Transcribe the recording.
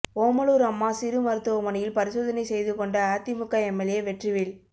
ஓமலூர் அம்மா சிறு மருத்துவமனையில் பரிசோதனை செய்து கொண்ட அதிமுக எம்எல்ஏ வெற்றிவேல்